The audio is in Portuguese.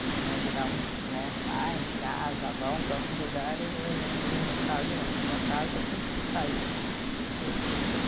Né, em geral muitos né, saem de casa, vão para outros lugares e eu me, no meu caso não, foi minha casa que que saiu assim, que foi se mudou.